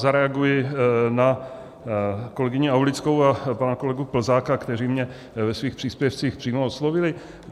Zareaguji na kolegyni Aulickou a pana kolegu Plzáka, kteří mě ve svých příspěvcích přímo oslovili.